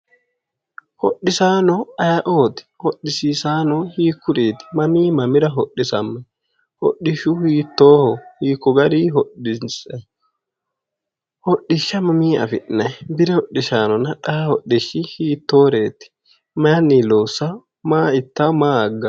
Hodhisaano aye"ooti hodhisiisaano hiikkuriiti mamii mamira hodhisammayi hodhishshu hiittooho hiikko garii hodhinsayi hodhishsha mamii afi'nayi bire hodhisaanonna xaa hodhishshi hiittooreeti mayinni loossao maa ittanno maa agganno